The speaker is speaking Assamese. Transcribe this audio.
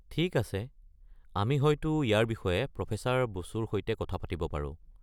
ঠিক আছে, আমি হয়তো ইয়াৰ বিষয়ে প্ৰফেছৰ বসুৰ সৈতে কথা পাতিব পাৰো।